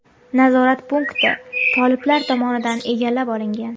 Nazorat punkti toliblar tomonidan egallab olingan.